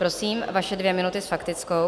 Prosím, vaše dvě minuty s faktickou.